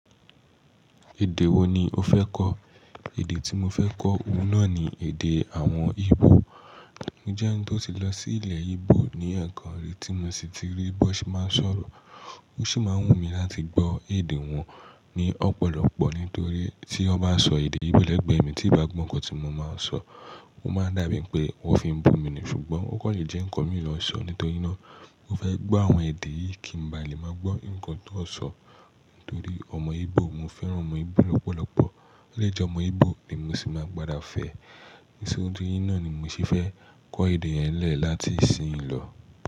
Èdè wo ni o fẹ́ kọ́? Èdè tí mo fẹ́ kọ́, òun náà ni èdè àwọn Igbo. Njẹ́ ẹni tó ti lọ sí ilẹ̀ Igbo, ní ẹ̀ẹ̀kan rí tí mo sì ti rí bí wọ́n ṣe máa ń sọ̀rọ̀. Ó sì máa ń wù mí láti gbọ́ èdè wọn ní ọ̀pọ̀lọpọ̀ nítorí tí ó bá n sọ èdè Igbo lẹ́gbẹ̀ẹ́ mi tí ì bá gbọ́ ǹkan tí mo máa ń sọ, ó máa n dà bíi pé wọ́n fi ń bú mi ni, ṣùgbọ́n ó kàn le jẹ́ ǹkan mi lo n sọ, nítorí náà mo fẹ́ gbọ́ àwọn èdè yìí kí ń ba lè máa gbọ́ ǹkan tó sọ nítorí ọmọ Igbo mo fẹ́ran ọmọ Igbo lọ́pọ̀lọpọ̀. O le je ọmọ Igbo ni mo sì máa gbada fẹ. Isoju yinnáà ni mo sì fẹ́ kọ́ èdè yẹn n lẹ́ẹ̀ láti ìsìnyí lọ.